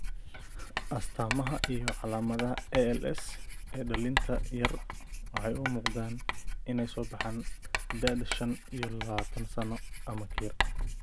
astamaha iyo calaamadaha ALS ee dhallinta yar waxay u muuqdaan inay soo baxaan da'da shan iyo labatan sano ama ka yar.